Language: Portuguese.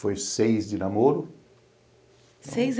Foi seis de namoro. Seis